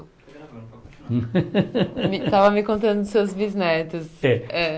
Me estava me contando dos seus bisnetos. É